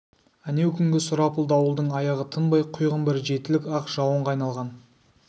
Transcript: әнеу күнгі сұрапыл дауылдың аяғы тынбай құйған бір жетілік ақ жауынға айналған